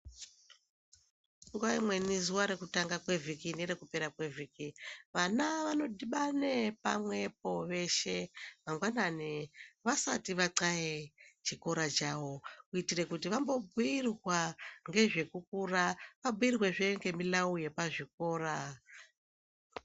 Nguva imweni zuva rekutanga kwevhiki nerokupera kwevhiki vana vanodhibana pamwepo veshe mangwanani vasati vathaye chikora chavo kuitire kuti vambobhuyirwa ngezve kukura ,vabhuyirwezve ngezvemulavu yepachikora.